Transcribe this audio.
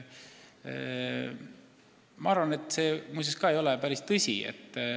Ma arvan, et see ei ole päris tõsi.